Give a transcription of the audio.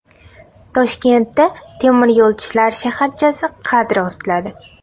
Toshkentda temir yo‘lchilar shaharchasi qad rostladi.